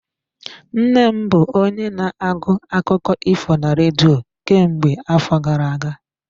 Nna m bụ onye na-agụ akụkọ ifo na redio kemgbe afọ gara aga.